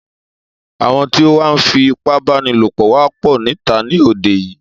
Àwọn tí o wá ń fí ipábánilopọ̀ wá pọ̀ níta ní òde yìí.